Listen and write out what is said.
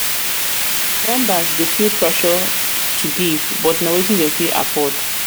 members dey feel pressure dey feel pressure to give but na wetin dem go fit afford?